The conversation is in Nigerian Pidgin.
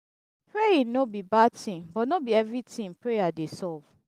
um praying no be bad thing but no be everything prayer dey solve